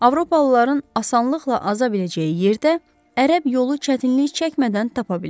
Avropalıların asanlıqla aza biləcəyi yerdə ərəb yolu çətinlik çəkmədən tapa bilər.